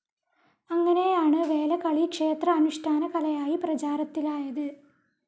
അങ്ങനെയാണ് വേലകളി ക്ഷേത്ര അനുഷ്ഠാനകലയായി പ്രചാരത്തിലായത്.